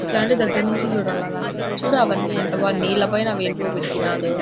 ఇట్లాంటివి దగ్గర నుంచి చూడాలయ్య చూడు అవన్నీ నీల పైన --